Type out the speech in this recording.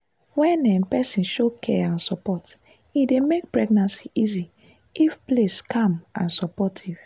wen um person show care and support e dey make pregnancy easy if place calm and supportive.